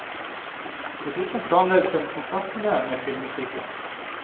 Dessuten planlegges en konsertturné med filmmusikken.